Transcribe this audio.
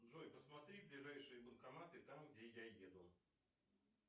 джой посмотри ближайшие банкоматы там где я еду